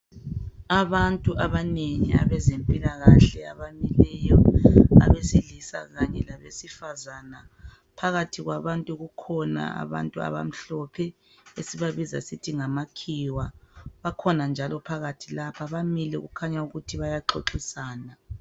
Abantu abanengi abezempilakahle abamileyo abesilisa kanye labesifazana phakathi kwabantu kukhona abantu abamhlophe esibabiza sithi ngamakhiwa bakhona njalo phakathi lapha bamile kukhanya ukuthi bayaxoxisana.